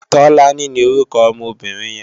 Tolani ni órúkò òmò óbìrín yèn